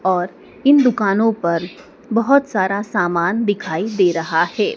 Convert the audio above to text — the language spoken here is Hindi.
और इन दुकानों पर बहुत सारा सामान दिखाई दे रहा है।